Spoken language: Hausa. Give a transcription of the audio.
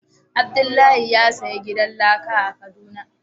Abdullahi ya siya gidan laka a kaduna.